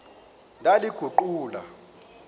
ndaliguqula